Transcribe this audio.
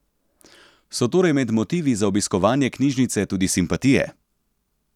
So torej med motivi za obiskovanje knjižnice tudi simpatije?